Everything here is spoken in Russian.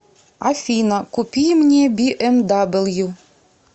афина купи мне би эм дабл ю